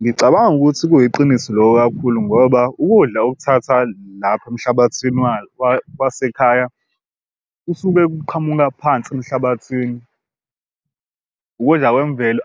Ngicabanga ukuthi kuyiqiniso loko kakhulu ngoba ukudla okuthatha lapha emhlabathini wasekhaya usuke kuqhamuka phansi emhlabathini. Ukudla kwemvelo